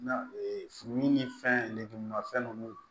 Na fini ni fɛn lenmafɛn nunnu